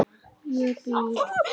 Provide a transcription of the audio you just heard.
Ég býð.